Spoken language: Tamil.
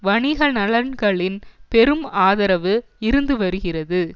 வணிக நலன்களின் பெரும் ஆதரவு இருந்து வருகிறது